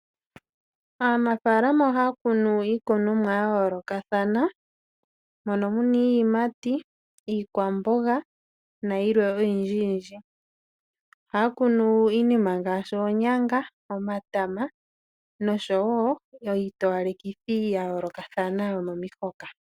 Aanafaalama ohaya kunu iikunonwa yayoolokathana mono muna iiyimati, iikwamboga nayilwe oyindji yindji. Ohaya kunu iinima ngaashi oonyanga, omatama nosho wo iitowalekithi yayoolokathana yomomihoka.